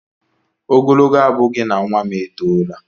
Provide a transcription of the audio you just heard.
Ogologo abụghị na nwa m etoola